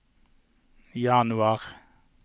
januar